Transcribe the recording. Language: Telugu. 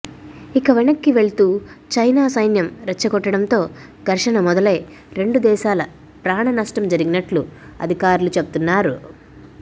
ఇక వెనక్కి వెళ్తూ చైనా సైన్యం రెచ్చగొట్టడంతో ఘర్షణ మొదలై రెండు దేశాల ప్రాణ నష్టం జగినట్లు అధికారులు చెబుతున్నారు